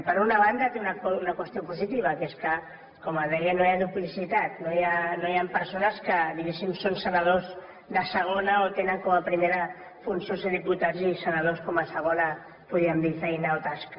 per una banda té una qüestió positiva que és que com es deia no hi ha duplicitat no hi han persones que diguéssim són senadors de segona o tenen com a primera funció ser diputats i senadors com a segona podríem dir feina o tasca